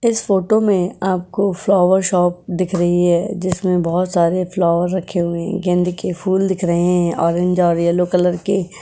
इस फोटो में आपको फ्लावर शॉप दिख रही है। जिसमें बहुत सारे फ्लावर रखे हुए गेंद के फूल दिख रहे हैं ऑरेंज और येलो कलर के।